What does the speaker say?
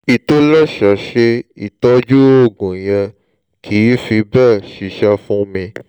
ìtòlẹ́sẹẹsẹ ìtọ́jú oògùn yẹn kìí fi bẹ́ẹ̀ ṣiṣẹ́ fún mi